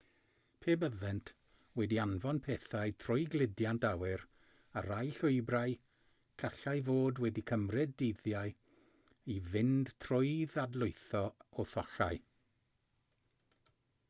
pe byddent wedi anfon pethau trwy gludiant awyr ar rai llwybrau gallai fod wedi cymryd dyddiau i fynd trwy ddadlwytho a thollau